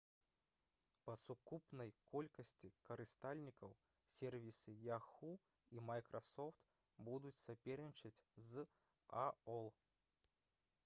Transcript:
па сукупнай колькасці карыстальнікаў сервісы yahoo і microsoft будуць сапернічаць з aol